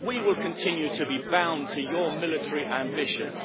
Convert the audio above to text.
We will continue to be bound to your military ambitions.